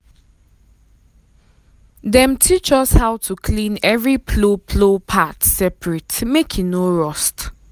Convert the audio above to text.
um dem teach us how to clean every plow plow part separate um make e no rust.